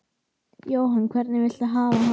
Jóhann: Hvernig viltu hafa hana?